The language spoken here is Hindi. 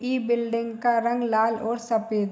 इ बिल्डिंग का रंग लाल और सफेद --